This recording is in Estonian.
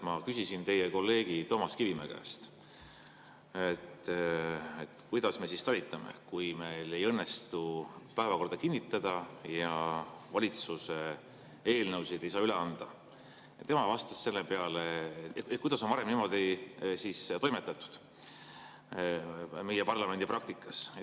Ma küsisin teie kolleegi Toomas Kivimäe käest, kuidas me siis talitame, kui meil ei õnnestu päevakorda kinnitada ja valitsuse eelnõusid ei saa üle anda, ning kuidas on varem meie parlamendipraktikas toimetatud.